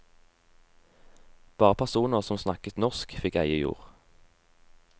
Bare personer som snakket norsk, fikk eie jord.